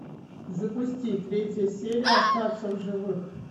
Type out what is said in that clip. запусти третья серия остаться в живых